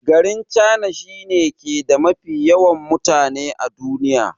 Garin china shi ne ke da mafi yawan mutane a duniya.